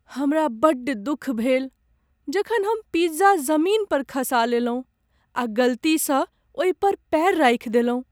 हमरा बड्ड दुख भेल जखन हम पिज्जा जमीन पर खसा लेलहुँ आ गलती सँ ओहि पर पैर राखि देलहुँ।